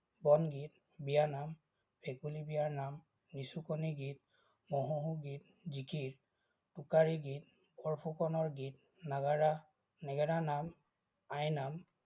বনগীত, বিয়ানাম, ভেকুলী বিয়াৰ নাম, নিচুকনি গীত, মহৌহ গীত, জিকিৰ, টোকাৰি গীত, বৰফুকনৰ গীত, নাগাৰা নেগাৰা নাম, আইনাম,